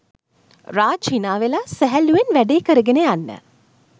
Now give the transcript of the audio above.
රාජ් හිනාවෙලා සැහැල්ලුවෙන් වැඩේ කරගෙන යන්න